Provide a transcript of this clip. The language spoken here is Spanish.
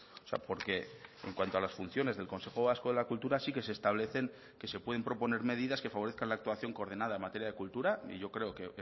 o sea porque en cuanto a las funciones del consejo vasco de la cultura sí que se establecen que se pueden proponer medidas que favorezcan la actuación coordinada en materia de cultura y yo creo que